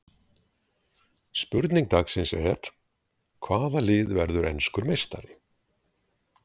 Spurning dagsins er: Hvaða lið verður enskur meistari?